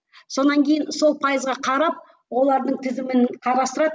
сонан кейін сол пайызға қарап олардың тізімін қарастырады